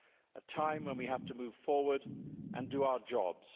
A time when we have to move forward and do our jobs